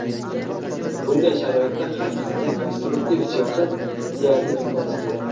Bunday sharoitda har qanday konstruktiv siyosat deyarli imkonsiz edi.